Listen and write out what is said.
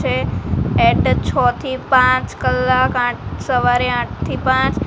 છે એટ છ થી પાંચ કલાક આઠ સવારે આઠ થી પાંચ--